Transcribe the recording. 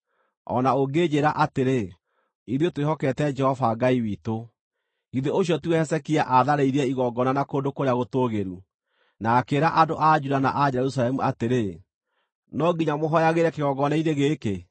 O na ũngĩnjĩĩra atĩrĩ, “Ithuĩ twĩhokete Jehova Ngai witũ,” githĩ ũcio tiwe Hezekia aatharĩirie igongona na kũndũ kũrĩa gũtũũgĩru, na akĩĩra andũ a Juda na a Jerusalemu atĩrĩ, “No nginya mũhooyagĩre kĩgongona-inĩ gĩkĩ”?